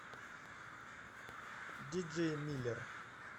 диджей миллер